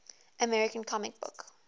american comic book